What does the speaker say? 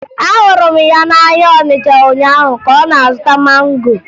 Ahụrụ m ya n'ahịa Ọnịcha ụnyaahụ ka ọ na-azụta mango